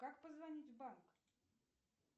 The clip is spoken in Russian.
как позвонить в банк